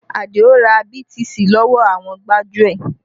Adio ra BTC lọ́wọ́ àwọn gbájúẹ̀